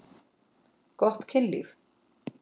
Gott kynlíf.